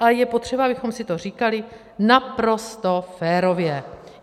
A je potřeba, abychom si to říkali naprosto férově.